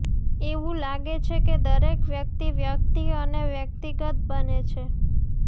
એવું લાગે છે કે દરેક વ્યક્તિ વ્યક્તિ અને વ્યક્તિગત બંને છે